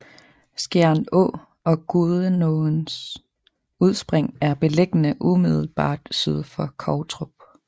Skjern Å og Gudenåens udspring er beliggende umiddelbart syd for Kovtrup